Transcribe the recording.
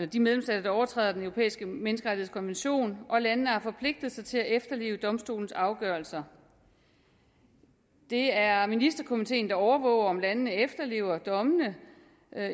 de medlemsstater der overtræder den europæiske menneskerettighedskonvention og landene har forpligtet sig til at efterleve domstolens afgørelser det er ministerkomiteen der overvåger om landene efterlever dommene